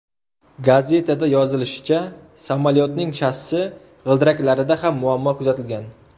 Gazetada yozilishicha, samolyotning shassi g‘ildiraklarida ham muammo kuzatilgan.